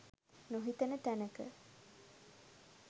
නොහිතන තැනක